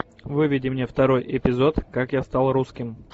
выведи мне второй эпизод как я стал русским